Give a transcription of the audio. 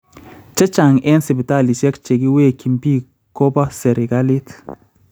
Chechang eng� sipitalisiek chekiwekyin biik ko ba serikaliit